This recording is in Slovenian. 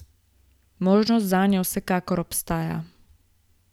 Možnost zanjo vsekakor obstaja.